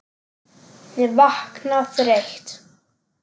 Ég vakna þreytt.